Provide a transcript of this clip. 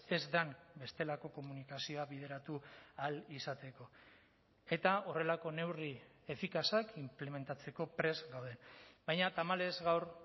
ez den bestelako komunikazioa bideratu ahal izateko eta horrelako neurri efikazak inplementatzeko prest gaude baina tamalez gaur